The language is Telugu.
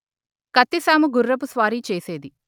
కత్తిసాము గుర్రపు స్వారీ చేసేది